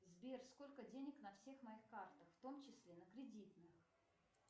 сбер сколько денег на всех моих картах в том числе на кредитных